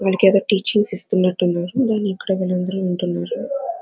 వాళ్ళకేదో టీచింగ్స్ ఇస్తున్నట్టు ఉన్నారు. దాన్ని ఇక్కడ వీలందరు వింటున్నారు.